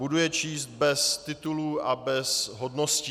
Budu je číst bez titulů a bez hodností.